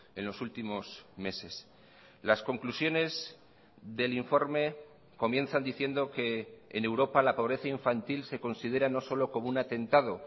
en los últimos meses las conclusiones del informe comienzan diciendo que en europa la pobreza infantil se considera no solo como un atentado